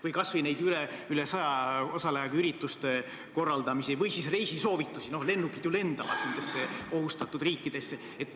Või kas või need üle saja osalejaga ürituste korraldamised ja reisisoovitused – lennukid ju lendavad ka ohustatud riikidesse.